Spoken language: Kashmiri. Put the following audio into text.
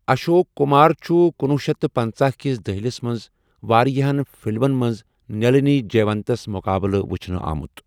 اشوک کمار چھُ کنُوُہ شیتھ تہٕ پَنژَھ کِس دہلِس منٛز واریاہَن فلمن منٛز نلٕنِی جےونتس مُقابٕلہٕ وچھنہٕ آمُت۔